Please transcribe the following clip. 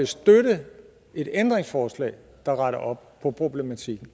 støtte et ændringsforslag der retter op på problematikken